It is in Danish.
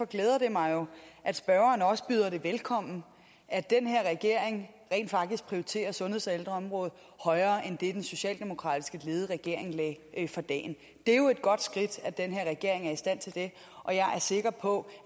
glæder det mig jo at spørgeren også byder det velkommen at den her regering rent faktisk prioriterer sundheds og ældreområdet højere end det den socialdemokratisk ledede regering lagde for dagen det er jo et godt skridt at den her regering er i stand til det og jeg er sikker på